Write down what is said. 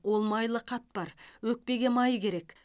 ол майлы қатпар өкпеге май керек